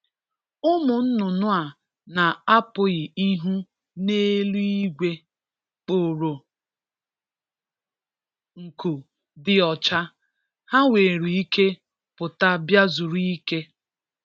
Ụmụ nnụnụ a na-apụghị ịhụ n’eluigwe, kporo nku dị ọcha; ha nwere ike pụta bịa zuru ike.